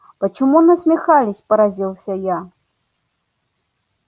почему насмехались поразился я